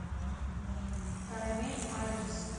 карамель адрес